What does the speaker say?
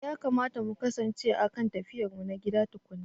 Eh yakamata mu kasance a kan tafiyarmu ta gida tukuna.